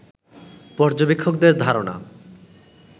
পর্যবেক্ষকদের ধারনা